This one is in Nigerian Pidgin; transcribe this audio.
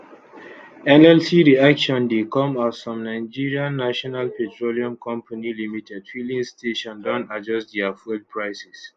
nlc reaction dey come as some nigerian national petroleum company limited filling stations don adjust dia fuel prices